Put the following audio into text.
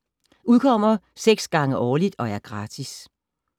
Udkommer 6 gange årligt og er gratis.